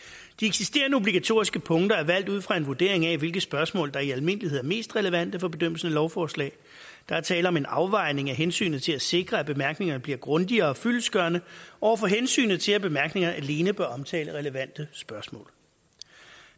de eksisterende obligatoriske punkter er valgt ud fra en vurdering af hvilke spørgsmål der i almindelighed er mest relevante for bedømmelsen af lovforslag der er tale om en afvejning af hensynet til at sikre at bemærkningerne bliver grundige og fyldestgørende over for hensynet til at bemærkningerne alene bør omtale relevante spørgsmål